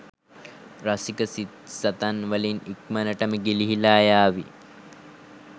රසික සිත්සතන් වලින් ඉක්මණටම ගිලිහිලා යාවි